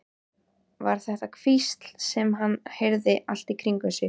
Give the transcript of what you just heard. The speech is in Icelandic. Var þetta hvísl sem hann heyrði allt í kringum sig?